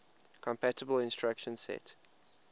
compatible instruction set